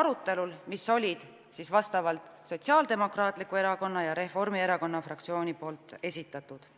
arutelul, mis olid siis Sotsiaaldemokraatliku Erakonna ja Reformierakonna fraktsiooni esitatud.